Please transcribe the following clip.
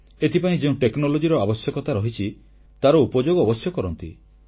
ଏଥିପାଇଁ ଯେଉଁ ପ୍ରଯୁକ୍ତି ବା ଟେକ୍ନୋଲଜିର ଆବଶ୍ୟକତା ରହିଛି ତାର ଉପଯୋଗ ଅବଶ୍ୟ କରନ୍ତି